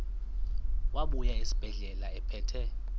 wabuya esibedlela ephethe